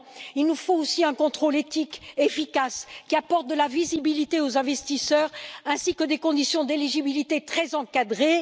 Il nous faut aussi un contrôle éthique efficace qui apporte de la visibilité aux investisseurs, ainsi que des conditions d'éligibilité très encadrées.